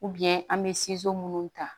an bɛ minnu ta